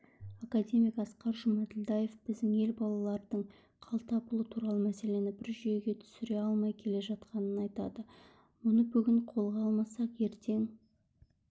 академик асқар жұмаділдаев біздің ел балалардың қалтапұлы туралы мәселені бір жүйеге түсіре алмай келе жатқанын айтады мұны бүгін қолға алмасақ ертең